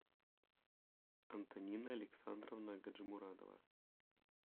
антонина александровна гаджимурадова